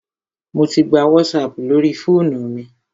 Mò tí gbà WhatsApp lórí fóònù mi.